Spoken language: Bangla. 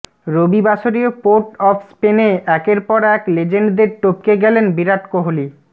রবিবাসরীয় পোর্ট অফ স্পেনে একের পর এক লেজেন্ডদের টপকে গেলেন বিরাট কোহলি